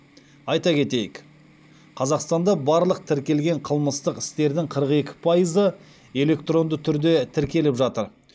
айта кетейік қазақстанда барлық тіркелген қылмыстық істердің қырық екі пайызы электронды түрде тіркеліп жатыр